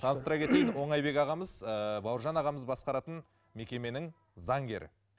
таныстыра кетейін оңайбек ағамыз ыыы бауыржан ағамыз басқаратын мекеменің заңгері